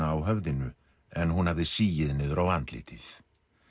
á höfðinu en hún hafði sigið niður á andlitið